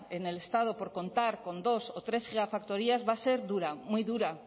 en el estado por contar con dos o tres gigafactorías va a ser dura muy dura